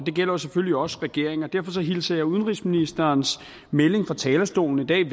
gælder selvfølgelig også regeringen og derfor hilser jeg udenrigsministerens melding på talerstolen i dag